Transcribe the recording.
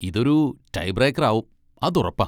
ഇതൊരു tie breaker ആവും, ആതുറപ്പാ.